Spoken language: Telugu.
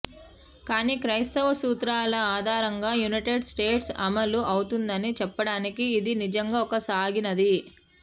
కానీ క్రైస్తవ సూత్రాల ఆధారంగా యునైటెడ్ స్టేట్స్ అమలు అవుతుందని చెప్పడానికి ఇది నిజంగా ఒక సాగినది